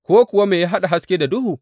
Ko kuwa me ya haɗa haske da duhu?